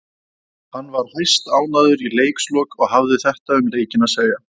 Hann var hæstánægður í leikslok og hafði þetta um leikinn að segja.